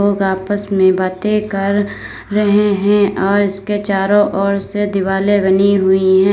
आपस में बातें कर रहे हैं और इसके चारों ओर से दिवाले बनी हुई है।